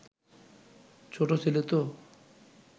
ছোট ছেলে তো